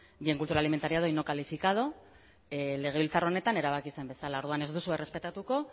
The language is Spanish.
bien cultural inventariado y no calificado legebiltzar honetan erabaki zen bezala orduan ez duzue errespetatuko